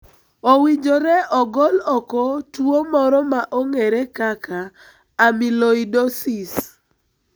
Owinjore ogol oko tuo moro ma ong'ere kaka amyloidosis.